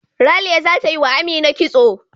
Ralia zata yi wa Amina kitso.